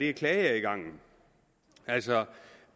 er klageadgangen altså